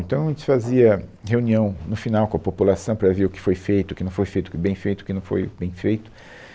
Então, a gente fazia reunião no final com a população para ver o que foi feito, o que não foi feito, o que bem feito, o que não foi bem feito.